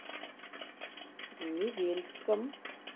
невельском